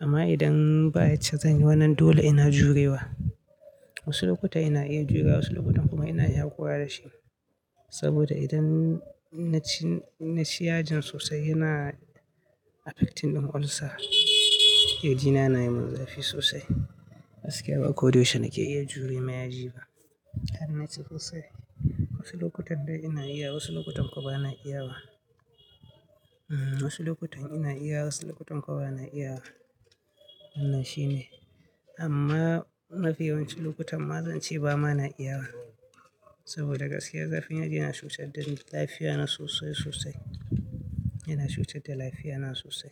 Amma idan ba yacce zan yi wannan dole ina jurewa. Wasu lokuta ina iya jurewa wasu lokutan kuma ina iya haƙura da shi. Saboda idan na ci, na ci yajin sosai yana affecting ɗin olsa. Ƙirjina yana yi mun zafi sosai. Gaskiya ba ko da yaushe nake iya jure ma yaji ba. An naci ƙosai. Wasu lokutan dai ina iya wasu lokutan kuwa ba na iyawa. Hmm wasu lokutan ina iyawa wasu lokutan kuwa ba na iyawa. Wannan shine. Amma mafi yawancin lokutan ma zan ci ba ma na iyawa. Saboda gaskiya zafin yaji yana cutar da lafiya na sosai sosai. Yana cutar da lafiya na sosai.